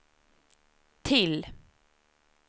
till